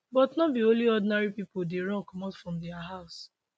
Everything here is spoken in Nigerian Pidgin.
but no be only ordinary pipo dey run comot from dia house